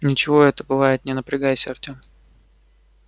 ничего это бывает не напрягайся артем